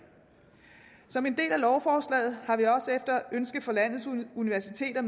som en del af lovforslaget har vi efter ønske fra landets universiteter